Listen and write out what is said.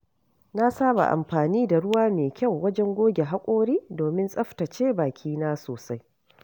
Na saba amfani da ruwa mai kyau wajen goge haƙora domin tsaftace bakina sosai.